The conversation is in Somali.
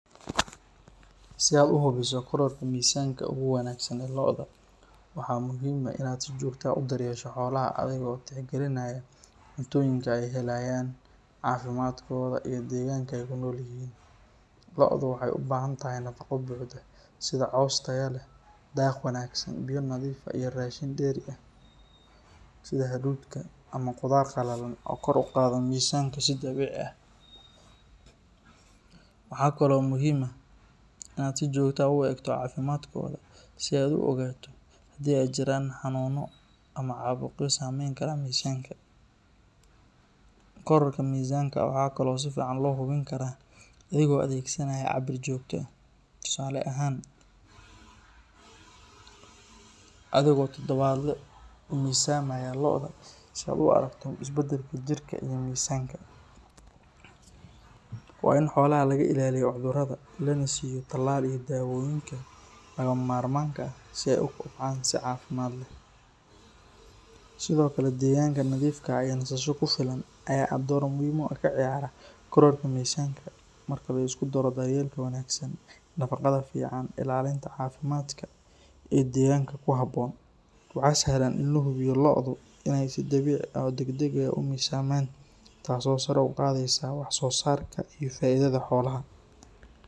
Si aad u hubiso kororka miisaanka ugu wanaagsan ee lo’da, waa muhiim inaad si joogto ah u daryeesho xoolaha adigoo tixgelinaya cuntooyinka ay helayaan, caafimaadkooda, iyo deegaanka ay ku nool yihiin. Lo’du waxay u baahan tahay nafaqo buuxda sida caws tayo leh, daaq wanaagsan, biyo nadiif ah, iyo raashin dheeri ah sida hadhuudhka ama qudaar qalalan oo kor u qaada miisaanka si dabiici ah. Waxaa kale oo muhiim ah in aad si joogto ah u eegto caafimaadkooda si aad u ogaato haddii ay jiraan xanuuno ama caabuqyo saameyn kara miisaanka. Kororka miisaanka waxaa kaloo si fiican loo hubin karaa adigoo adeegsanaya cabir joogto ah, tusaale ahaan, adigoo todobaadle u miisaamaya lo’da si aad u aragto isbeddelka jirka iyo miisaanka. Waa in xoolaha laga ilaaliyo cudurrada, lana siiyo talaal iyo dawooyinka lagama maarmaanka ah si ay u kobcaan si caafimaad leh. Sidoo kale deegaanka nadiifka ah iyo nasasho ku filan ayaa door muhiim ah ka ciyaara kororka miisaanka. Marka la isku daro daryeelka wanaagsan, nafaqada fiican, ilaalinta caafimaadka iyo deegaanka ku habboon, waxaa sahlan in la hubiyo lo’du inay si dabiici ah oo degdeg ah u miisaamaan, taasoo sare u qaadaysa waxsoosaarka iyo faa’iidada xoolaha.